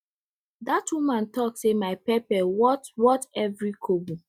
that woman talk say my pepper worth worth every kobo